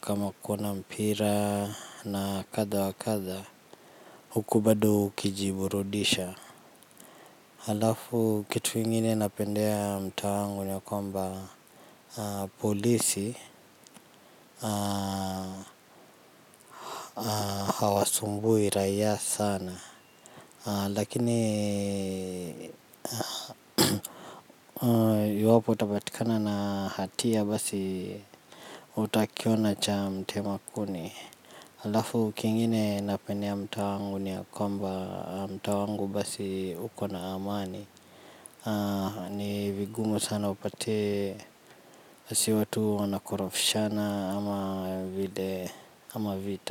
Kama kuona mpira na kadha wa kadha huku bado ukijiburudisha. Halafu kitu ingine napendea mtaa wangu ni kwamba polisi hawasumbui raia sana. Lakini iwapo utapatikana na hatia basi utakiona cha mtema kuni. Alafu kingine napendea mtaa wangu ni ya kwamba mtaa wangu basi uko na amani. Ni vigumu sana upate si watu wanakorofishana ama vile kama vita.